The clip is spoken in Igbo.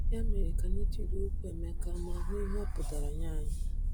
Ya mere, ka anyị tụlee okwu Emeka ma hụ ihe ọ pụtara nye anyị.